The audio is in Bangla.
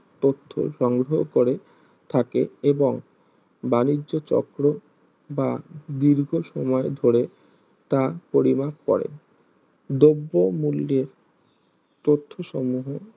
তথ্য সংগ্রহ করে থাকে এবং বাণিজ্য চক্র বা দীর্ঘ সময় ধরে তা পরিমাপ করে দ্রব্য মূল্যের তত্ত্ব সমূহে